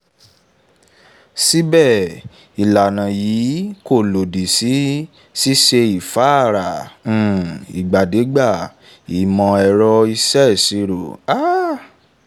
síbè ìlànà yìí kò lòdì sí ṣíṣe ìfáàrà um ìdàgbàsókè ìmò-ẹ̀rọ ìṣèṣirò um